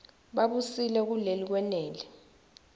babusile kuleli kwenele